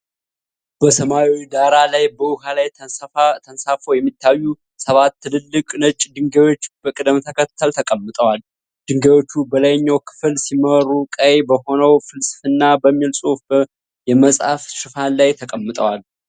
በሰማያዊ ዳራ ላይ በውሃ ላይ ተንሳፍፈው የሚታዩ ሰባት ትላልቅ ነጭ ድንጋዮች በቅደም ተከተል ተቀምጠዋል። ድንጋዮቹ በላይኛው ክፍል ሲመሩ፣ ቀይ በሆነው "ፍልስፍና" በሚል ጽሑፍ የመጽሐፍ ሽፋን ላይ ተቀምጠዋል።